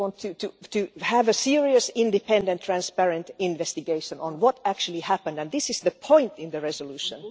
we want to have a serious, independent, transparent investigation on what actually happened, and this is the point in the resolution.